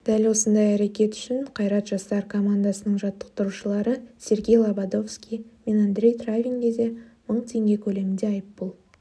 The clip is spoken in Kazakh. дәл осындай әрекеті үшін қайрат жастар командасының жаттықтырушыларысергей лабодовский менандрей травинге де мың теңге көлемінде айыппұл